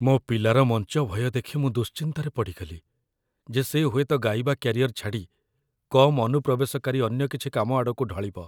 ମୋ ପିଲାର ମଞ୍ଚ ଭୟ ଦେଖି ମୁଁ ଦୁଶ୍ଚିନ୍ତାରେ ପଡ଼ିଗଲି ଯେ ସେ ହୁଏତ ଗାଇବା କ୍ୟାରିଅର ଛାଡ଼ି କମ୍ ଅନୁପ୍ରବେଶକାରୀ ଅନ୍ୟ କିଛି କାମ ଆଡ଼କୁ ଢଳିବ ।